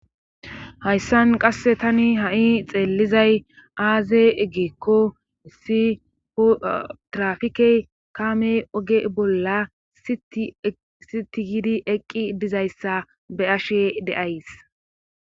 Hayssan qasse tani ha7i xeellizay aaze eggikko issifotrafikey kaamey oge bolla sitigidi eqqi dizayssa be ashe deays.